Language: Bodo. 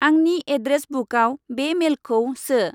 आंनि एद्रेस बुकाव बे मेलखौ सो।